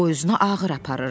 O özünü ağır aparırdı.